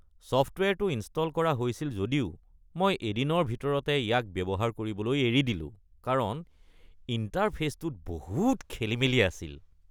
ছফ্টৱেৰটো install কৰা হৈছিল যদিও মই এদিনৰ ভিতৰতে ইয়াক ব্যৱহাৰ কৰিবলৈ এৰি দিলোঁ কাৰণ ইণ্টাৰফে’চটোত বহুত খেলিমেলি আছিল।